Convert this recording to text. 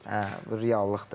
Hə, bu reallıqdır.